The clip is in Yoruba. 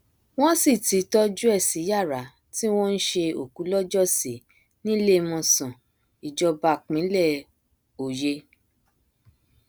wọn sì ti tọjú ẹ sí yàrá tí wọn ń ṣe òkú lọjọ sí níléemọsán ìjọba pínlẹ òye